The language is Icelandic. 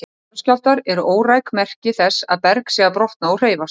Jarðskjálftar eru óræk merki þess að berg sé að brotna og hreyfast.